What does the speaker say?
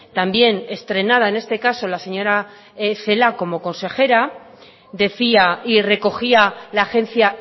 también estrenada en este caso la señora celaá como consejera decía y recogía la agencia